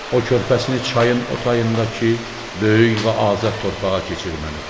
O körpəsini çayın o tayındakı böyük və azad torpağa keçirməlidir.